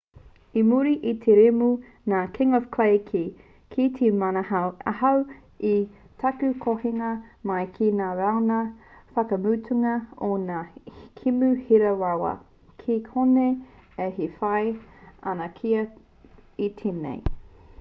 i muri i te kēmu nā king of clay i kī kei te manahau ahau i taku hokinga mai ki ngā rauna whakamutunga o ngā kēmu hira rawa kei konei au e whai ana kia toa i tēnei